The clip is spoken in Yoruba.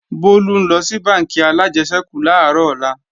Bólú ńlọ sí bánkì alájẹsẹ́kù làárọ̀ ọ̀la